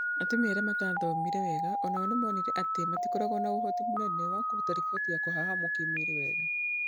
Atumia arĩa mataathomete wega o nao nĩ monire atĩ matikoragwo na ũhoti mũnene wa kũruta riboti ya kũhahamwa kĩmwĩrĩ